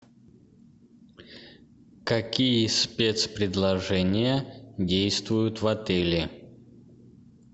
какие спецпредложения действуют в отеле